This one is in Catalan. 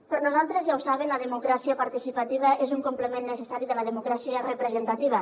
per nosaltres ja ho saben la democràcia participativa és un complement necessari de la democràcia representativa